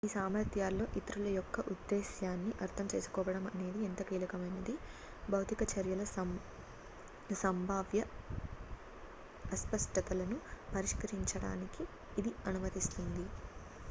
ఈ సామర్థ్యాల్లో ఇతరుల యొక్క ఉద్దేశ్యాన్ని అర్థం చేసుకోవడం అనేది ఎంతో కీలకమైనది భౌతిక చర్యల సంభావ్య అస్పష్టతలను పరిష్కరించడానికి ఇది అనుమతిస్తుంది